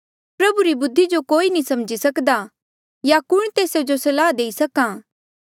प्रभु री बुद्धि जो कोई नी समझी सकदा या कुण तेस जो सलाह देई सक्हा